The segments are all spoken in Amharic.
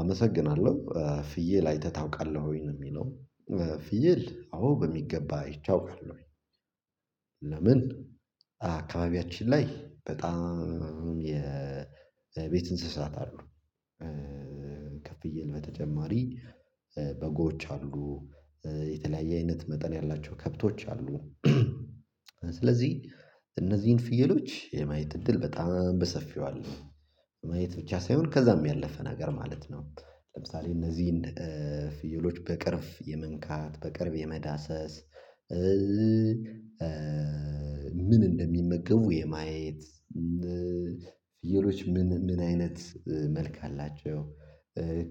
አመሰግናለሁ። ፍየል አይተህ ታውቃለህ ወይ? ነው የሚለው። ፍየል አዎ በሚገባ አይቼ አውቃለሁኝ። ለምን አካባቢያችን ላይ በጣም የ የቤት እንስሳት አሉ። ከፍየል በተጨማሪ በጎች አሉ፤ የተለያየ አይነት መጠን ያላቸው ከብቶች አሉ። ስለዚህ እነዚህን ፍየሎች የማየት እድል በጣም በሰፊው አለ። ማየት ብቻ ሳይሆን ከዛም ያለፈ ነገር ማለት ነው። ለምሳሌ እነዚህን ፍየሎች በቅርብ የመንካት፤ በቅርብ የመዳሰስ ምን እንደሚመገቡ የማየት፤ ፍየሎች ምን ምን አይነት መልክ አላቸው?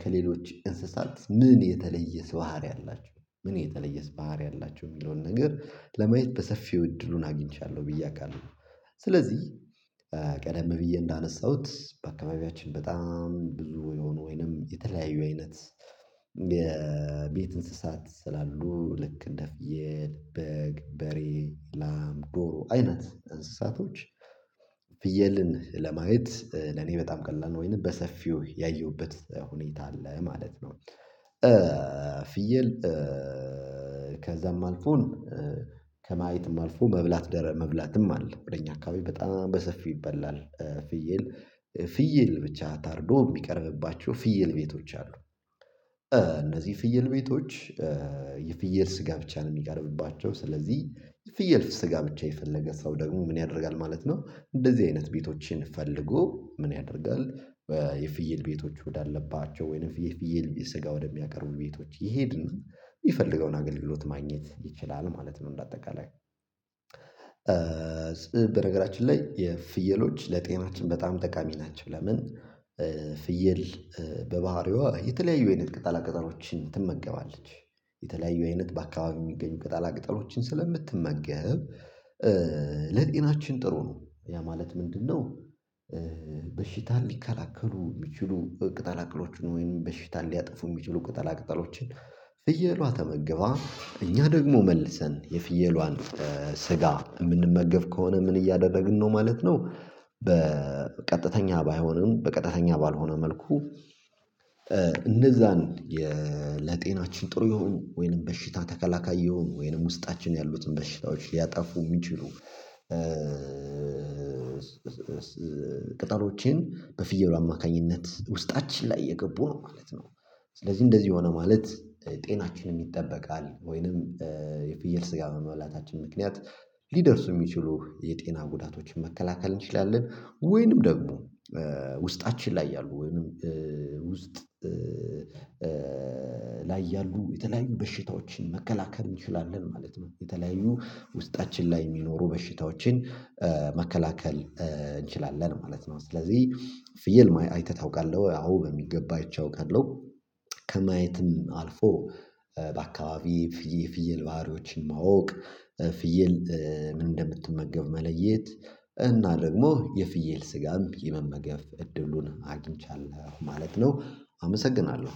ከሌሎች እንስሳት ምን የተለየስ ባህሪ አላቸው? ምን የተለየስ ባህሪ አላቸው? የሚለውን ነገር ለማየት በሰፊው እድሉን አግኝቻለሁ ብዬ አውቃለሁ። ስለዚህ ቀደም ብዬ እንዳነሳሁ፥ በአካባቢያችን በጣም ብዙ የሆኑ ወይንም የተለያዩ አይነት የቤት እንስሳት ስላሉ ልክ እንደ ፍየል፣ በግ፣ በሬ፣ ላም፣ ዶሮ አይነት እንስሳቶች ፍየልን ለማየት ለኔ በጣም ቀላል ነው። ወይንም በሰፊው ያየሁበት ሁኔታ አለ ማለት ነው። ፍየል ከዛም አልፎ ከማየትም አልፎ መብላት ደረ መብላትም አለ። ወደ እኛ አካባቢ በጣም በሰፊው ይበላል። ፍየል ፍየል ብቻ ታርዶ የሚቀርብባቸው ፍየል ቤቶች አሉ። እነዚህ ፍየል ቤቶች የፍየል ስጋ ብቻ ነው የሚቀርብባቸው። ስለዚህ የፍየል ስጋ ብቻ የፈለገ ሰው ደግሞ ምን ያደርጋል ማለት ነው እንደዚህ አይነት ቤቶችን ፈልጎ ምን ያደርጋል የፍየል ቤቶች ወዳለባቸው ወይንም የፍየል ስጋ ወደሚያቀርቡ ቤቶች ይሄድና የሚፈልገውን አገልግሎት ማግኘት ይችላል ማለት ነው እንደ አጠቃላይ። በነገራችን ላይ የፍየሎች ለጤናችን በጣም ጠቃሚ ናቸው። ለምን ፍየል በባህሪዋ የተለያዩ አይነት ቅጠላ ቅጠሎችን ትመገባለች። የተለያዩ አይነት በአካባቢው የሚገኙ ቅጠላ ቅጠሎችን ስለምትመገብ ለጤናችን ጥሩ ነው። ያ ማለት ምንድነው በሽታን ሊከላከሉ የሚችሉ ቅጠላቅጠሎች፤ ወይም በሽታ ሊያጠፉ የሚችሉ ቅጠላቅጠሎችን ፍየሏ ተመግባ፣ እኛ ደግሞ መልሰን የፍየሏን ስጋ የምንመገብ ከሆነ ምን እያደረግን ነው ማለት ነው በቀጥተኛ ባይሆንም በቀጥተኛ ባልሆነ መልኩ እነዛን ለጤናችን ጥሩ ይሁን ወይንም በሽታ ተከላካይ ይሁን ወይንም ውስጣችን ያሉትን በሽታዎች ሊያጠፉ የሚችሉ ቅጠሎችን በፍየሉ አማካኝነት ውስጣችን ላይ እየገቡ ነው ማለት ነው። ስለዚህ እንደዚህ ሆነ ማለት ጤናችንም ይጠበቃል። ወይንም የፍየል ስጋ በመብላታችን ምክንያት ሊደርሱ የሚችሉ የጤና ጉዳቶችን መከላከል እንችላለን። ወይንም ደግሞ ውስጣችን ላይ ያሉ ወይንም ውስጥ ላይ ያሉ የተለያዩ በሽታዎችን መከላከል እንችላለን ማለት ነው። የተለያዩ ውስጣችን ላይ የሚኖሩ በሽታዎችን መከላከል እንችላለን ማለት ነው። ስለዚህ ፍየል አይተህ ታውቃለህ ወይ? አዎ በሚገባ አይቼ አውቃለሁ። ከማየትም አልፎ በአካባቢ ፍየል ባህሪዎችን ማወቅ፤ ፍየል ምን እንደምትመገብ መለየት እና ደግሞ የፍየል ስጋም የመመገብ እድሉን አግኝቻለሁ ማለት ነው። አመሰግናለሁ።